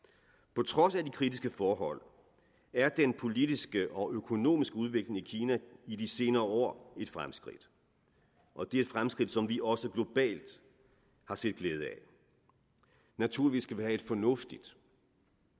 på trods af de kritiske forhold er den politiske og økonomiske udvikling i kina i de senere år et fremskridt og det er et fremskridt som vi også globalt har set glæde af naturligvis skal vi have et fornuftigt